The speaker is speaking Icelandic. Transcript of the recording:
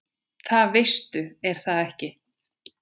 Það veistu er það ekki?